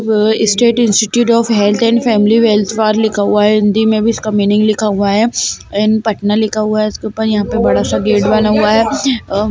अ-स्टेट institute of health and family welfare लिखा हुआ है हिंदी में भी इसका मीनिंग लिखा हुआ है एंड पटना लिखा हुआ है इसके ऊपर यहाँ पर बड़ा सा गेट बना हुआ है अ --